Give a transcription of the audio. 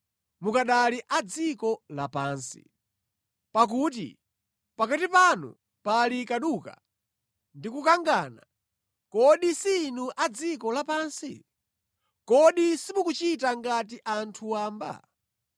Mukanali adziko lapansi. Pakuti pakati panu pali kaduka ndi kukangana, kodi si inu a dziko lapansi? Kodi simukuchita ngati anthu wamba?